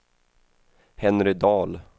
Henry Dahl